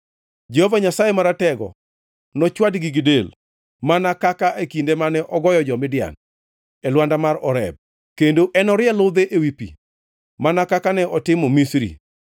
Jehova Nyasaye Maratego nochwadgi gi del, mana kaka e kinde mane ogoyo jo-Midian, e lwanda mar Oreb; kendo enorie ludhe ewi pi mana kaka ne otimo Misri.